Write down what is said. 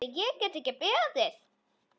Heyrðu, ég get ekki beðið.